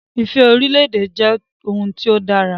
Ifẹ̀ orílè-èdè jẹ́ ohun tí ó dára